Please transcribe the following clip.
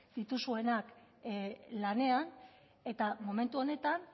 dituzuenak lanean eta momentu honetan